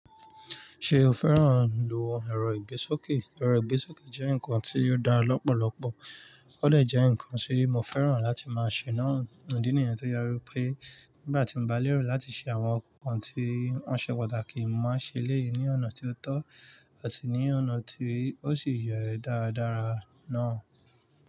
Ṣé o fẹ́ràn ìlò ẹ̀rọ ìgbésókè? Ẹ̀rọ ìgbésókè jẹ́ ǹkan tí ó dá lọ́pọ̀lọpọ̀, ó dẹ̀ jẹ́ ǹkan tí mo fẹ́ràn láti máa ṣe náà. Idí nìyẹn tó je wípé nígbà tí mo bá lérò láti ṣe àwọn ǹkan tí ó ṣe pàtàkì, mo máa ṣẹ́ léyín ọ̀nà tí ó tọ́ àti ní ọ̀nà tí ó sì yẹ darádará náà.